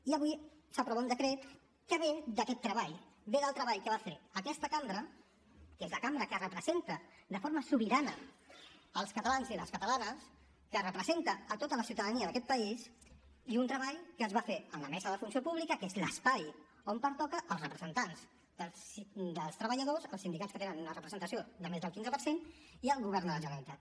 i avui s’aprova un decret que ve d’aquest treball ve del treball que va fer aquesta cambra que és la cambra que representa de forma sobirana els catalans i les catalanes que representa a tota la ciutadania d’aquest país i d’un treball que es va fer en la mesa de la funció pública que és l’espai on pertoca als representants dels treballadors als sindicats que tenen una representació de més del quinze per cent i al govern de la generalitat